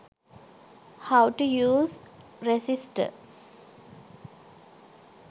how to use resister